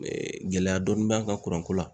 gɛlɛya dɔɔnin b'an kan kuranko la.